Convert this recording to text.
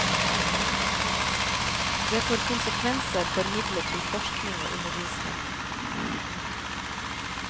Det får konsekvenser for midler til forskning og undervisning.